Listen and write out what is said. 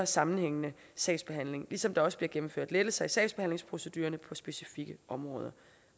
sammenhængende sagsbehandling ligesom der også bliver gennemført lettelser i sagsbehandlingsprocedurerne på specifikke områder